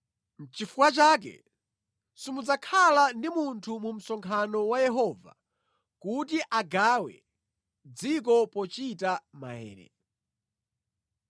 Nʼchifukwa chake simudzakhala ndi munthu mu msonkhano wa Yehova kuti agawe dziko pochita maere.